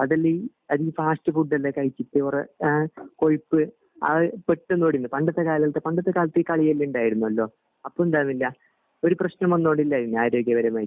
അതെല്ലാം ഈ അത് ഈ ഫാസ്റ്റ് ഫുഡ് എല്ലാം കഴിച്ചിട്ട് കൊറേ എഹ് കൊഴുപ്പ് അഹ് പെട്ടന് പണ്ടത്തെ കാലത്ത് പണ്ടത്തെ കാലത്ത് ഈ കളിയെല്ലാം ഇണ്ടായിരുന്നലോ അപ്പോ എന്താവില്ല ഒരു പ്രശനം വന്നോണ്ടിലാര്നു ആരോഗ്യപരമായിട്ട്